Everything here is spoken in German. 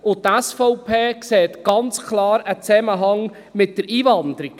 Die SVP sieht einen ganz klaren Zusammenhang mit der Einwanderung.